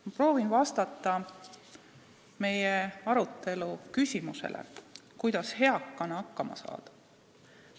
Ma proovin vastata meie arutelus esitatud küsimusele, kuidas eakana hakkama saada.